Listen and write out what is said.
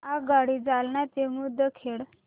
आगगाडी जालना ते मुदखेड